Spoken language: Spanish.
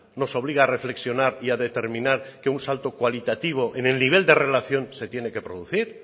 nos obliga a reflexionar y a determinar que un salto cualitativo en el nivel de relación se tiene que producir